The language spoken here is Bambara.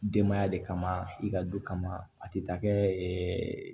Denbaya de kama i ka du kama a tɛ taa kɛ